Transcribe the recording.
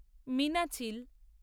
Meenachil